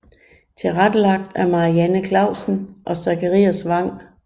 Tilrettelagt af Marianne Clausen og Zakarias Wang